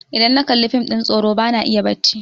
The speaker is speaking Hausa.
idan na Kalli fim ɗin tsoro ba na iya bacci